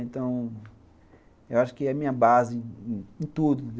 Então, eu acho que é a minha base em tudo.